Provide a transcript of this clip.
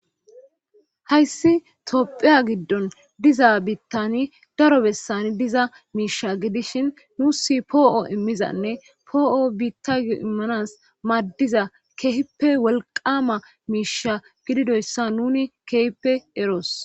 hayssi topphiya giddon diza biittani daro bessani diza miisha gidishin nuusi poo7o immizanne poo7o biittayo immanas maaddiza keehippe wolqama miisha gididoyssa nuni keehippe eroos.